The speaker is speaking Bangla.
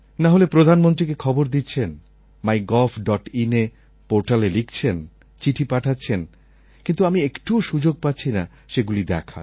নাহলে প্রধানমন্ত্রীকে খবর দিচ্ছেন mygovinএই সাইটে লিখছেন চিঠি পাঠাচ্ছেন কিন্তু আমি একটুও সুযোগ পাচ্ছি না সেগুলি দেখার